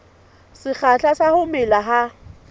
sekgahla sa ho mela ha